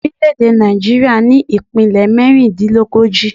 Orílẹ̀ èdè Nàìjíríà ní ìpínlè mérindínlógójì